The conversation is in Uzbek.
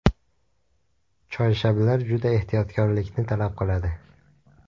Choyshablar juda ehtiyotkorlikni talab qiladi.